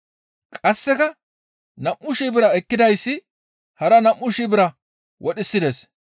Qasseka nam7u shii bira ekkidayssi hara nam7u shii bira wodhisides.